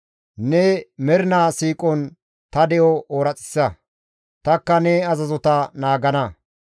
Ne mernaa siiqon ta de7o ooraxissa; tanikka ne azazota naagana.